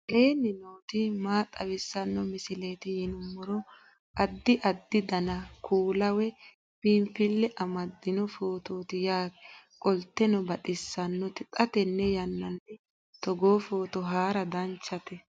aleenni nooti maa xawisanno misileeti yinummoro addi addi dananna kuula woy biinsille amaddino footooti yaate qoltenno baxissannote xa tenne yannanni togoo footo haara danchate